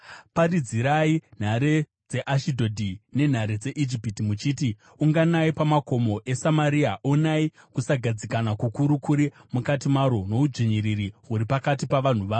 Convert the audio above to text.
Paridzirai nhare dzeAshidhodhi nenhare dzeIjipiti muchiti: “Unganai pamakomo eSamaria; onai kusagadzikana kukuru kuri mukati maro, noudzvinyiriri huri pakati pavanhu varo.”